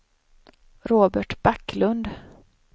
Robert Backlund